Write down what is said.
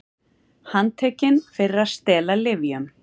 Handtekin fyrir að stela lyfjum